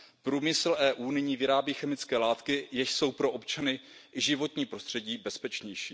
Průmysl EU nyní vyrábí chemické látky, jež jsou pro občany i životní prostředí bezpečnější.